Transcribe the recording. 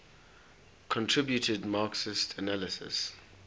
contributed marxist analyses